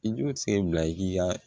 I jo sen bila i ka